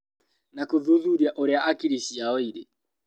Na gũthuthuria ũrĩa hakiri ciao irĩ